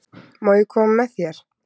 Má ég koma með þér?